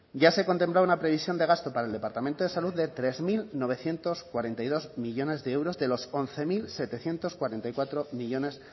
ya se contemplaba una previsión de gasto para el departamento de salud de tres mil novecientos cuarenta y dos millónes de euros de los once mil setecientos cuarenta y cuatro millónes